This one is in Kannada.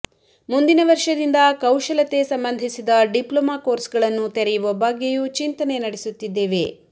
ಮುಂದಿನ ವರ್ಷದಿಂದ ಕೌಶಲತೆ ಸಂಬಂಧಿಸಿದ ಡಿಪ್ಲೊಮಾ ಕೋರ್ಸ್ಗಳನ್ನು ತೆರೆಯುವ ಬಗ್ಗೆಯೂ ಚಿಂತನೆ ನಡೆಸುತ್ತಿದ್ದೇವೆ